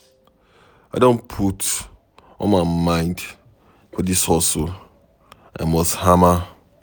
I don put all my mind for dis hustle, I must hama.